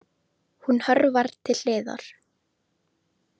Hún hörfar til hliðar.